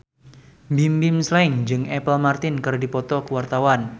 Bimbim Slank jeung Apple Martin keur dipoto ku wartawan